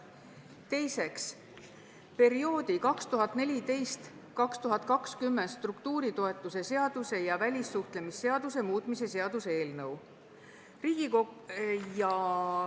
Teiseks, perioodi 2014–2020 struktuuritoetuse seaduse ja välissuhtlemisseaduse muutmise seaduse eelnõu.